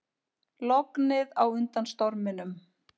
Lognið á undan storminum